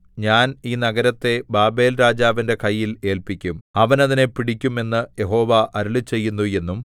ഞാൻ ഈ നഗരത്തെ ബാബേൽരാജാവിന്റെ കയ്യിൽ ഏല്പിക്കും അവൻ അതിനെ പിടിക്കും എന്ന് യഹോവ അരുളിച്ചെയ്യുന്നു എന്നും